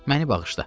Məni bağışla.